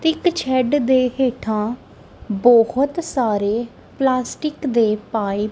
ਇੱਕ ਸੈਡ ਦੇ ਹੇਠਾਂ ਬਹੁਤ ਸਾਰੇ ਪਲਾਸਟਿਕ ਦੇ ਪਾਈਪ --